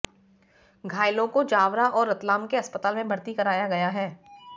घायलों को जावरा और रतलाम के अस्पताल में भर्ती कराया गया है